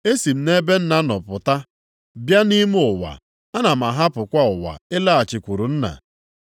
Esi m nʼebe Nna nọ pụta, bịa nʼime ụwa. Ana m ahapụkwa ụwa ịlaghachikwuru Nna.”